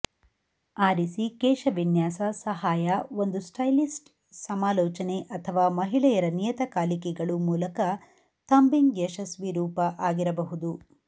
ಆರಿಸಿ ಕೇಶವಿನ್ಯಾಸ ಸಹಾಯ ಒಂದು ಸ್ಟೈಲಿಸ್ಟ್ ಸಮಾಲೋಚನೆ ಅಥವಾ ಮಹಿಳೆಯರ ನಿಯತಕಾಲಿಕೆಗಳು ಮೂಲಕ ಥಂಬಿಂಗ್ ಯಶಸ್ವಿ ರೂಪ ಆಗಿರಬಹುದು